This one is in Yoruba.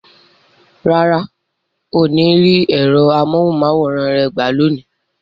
Rárá, o ní rí ẹ̀rọ amóhùn máwòrán rẹ gbà lónìí